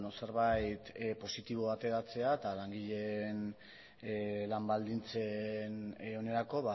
zerbait positiboa ateratzea eta langileen lan baldintzen onerako